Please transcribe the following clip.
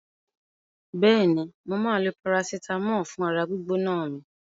Bẹ́ẹ̀ni, mo máa lo parasitàmọ́ọ̀ fún ara gbígbóná mi.